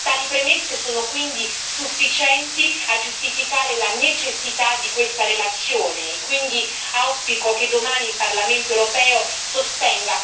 Tali premesse sono quindi sufficienti a giustificare la necessità di questa relazione e quindi auspico che domani il Parlamento europeo sosterrà